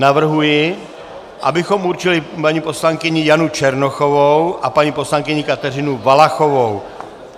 Navrhuji, abychom určili paní poslankyni Janu Černochovou a paní poslankyni Kateřinu Valachovou.